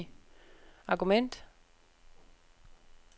argument